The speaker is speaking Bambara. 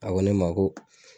A ko ne ma ko